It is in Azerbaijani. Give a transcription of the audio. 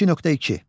22.2.